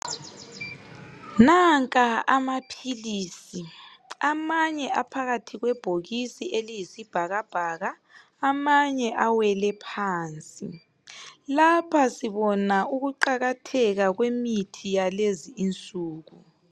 Nanka amaphilisi amanye aphakathi kwebhokisi eliyisibhakabhaka amanye awele phansi lapha sibona ukuqakatheka kwemithi yalezi insuku.